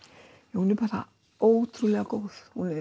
já hún er bara ótrúlega góð